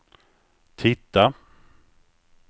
titta